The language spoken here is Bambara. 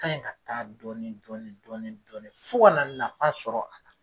Ka in ka taa dɔɔnin dɔɔnin dɔɔnin fo ka na nafa sɔrɔ a la.